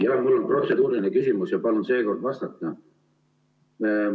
Jah, mul on protseduuriline küsimus ja palun seekord vastata.